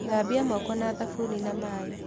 Thambia moko na thabuni na maĩ.